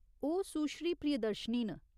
ओह् सुश्री प्रियदर्शिनी न।